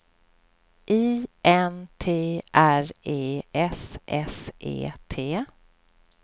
I N T R E S S E T